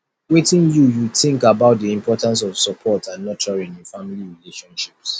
wetin you you think about di importance of support and nurturing in family relationships